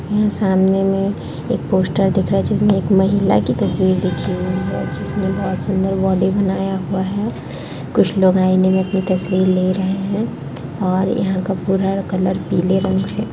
उम्म सामने में एक पोस्टर दिख रहा है जिसमे एक महिला की तस्वीर रही है जिसने बहुत सुंदर बॉडी बनाया हुआ है कुछ लोग आईने मे अपनी तस्वीर ले रहे हैं| और यहाँ का पूरा कलर पीले रंग मे ---